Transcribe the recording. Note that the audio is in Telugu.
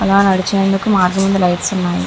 అలా నడిచేందుకు మీద లైట్స్ ఉన్నాయి.